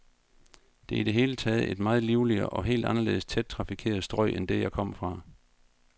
Det er i det hele taget et meget livligere, et helt anderledes tæt trafikeret strøg end det, jeg kom fra.